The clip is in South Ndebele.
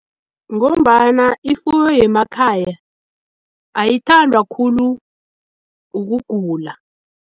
Ngombana ifuyo yemakhaya ayithandwa khulu ukugula.